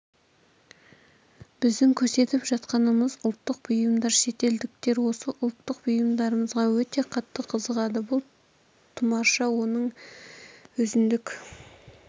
біздің көрсетіп жатқанымыз ұлттық бұйымдар шетелдіктер осы ұлттық бұйымдарымызға өте қатты қызығады бұл тұмарша оның өзіндік